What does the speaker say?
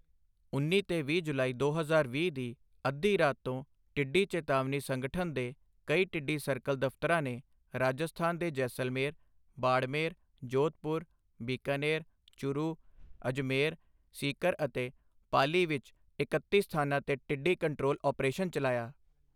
ਉੱਨੀ ਤੇ ਵੀਹ ਜੁਲਾਈ ਦੋ ਹਜ਼ਾਰ ਵੀਹ ਦੀ ਅੱਧੀ ਰਾਤ ਤੋਂ ਟਿੱਡੀ ਚੇਤਾਵਨੀ ਸੰਗਠਨ ਦੇ ਕਈ ਟਿੱਡੀ ਸਰਕਲ ਦਫ਼ਤਰਾਂ ਨੇ ਰਾਜਸਥਾਨ ਦੇ ਜੈਸਲਮੇਰ, ਬਾੜਮੇਰ, ਜੋਧਪੁਰ, ਬੀਕਾਨੇਰ, ਚੁਰੂ, ਅਜਮੇਰ, ਸੀਕਰ ਅਤੇ ਪਾਲੀ ਵਿੱਚ ਇਕੱਤੀ ਸਥਾਨਾਂ ਤੇ ਟਿੱਡੀ ਕੰਟਰੋਲ ਅਪਰੇਸ਼ਨ ਚਲਾਇਆ।